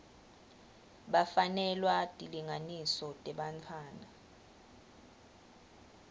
bafanelwa tilinganiso tebantfwana